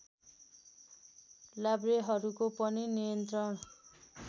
लाभ्रेहरूको पनि नियन्त्रण